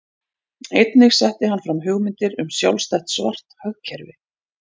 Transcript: Einnig setti hann fram hugmyndir um sjálfstætt svart hagkerfi.